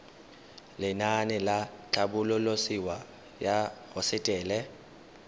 lenaane la tlhabololosewa ya hosetele